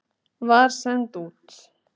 var send út.